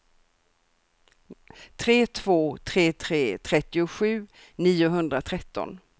tre två tre tre trettiosju niohundratretton